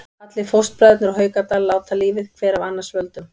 Allir fóstbræðurnir úr Haukadal láta lífið, hver af annars völdum.